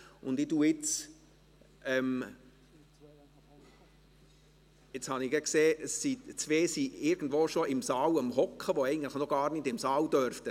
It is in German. Ich habe gesehen, dass zwei Personen bereits im Saal sitzen, obwohl sie eigentlich noch gar nicht im Saal sein dürften.